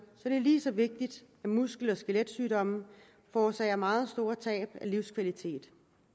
er det lige så vigtigt at muskel og skeletsygdomme forårsager meget store tab af livskvalitet